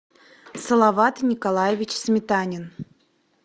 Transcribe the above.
салават николаевич сметанин